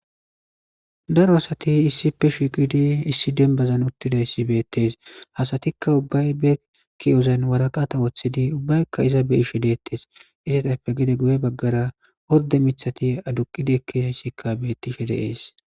Daro asati issi pe shikidi issi dembazan uttida issi beettees hasatikka ubbay be kiozan waraqata woththidi ubbaykka iza be ishe deettes izetappe gide guye baggara horde mithati aduqidikkizayssikka beettishe de ees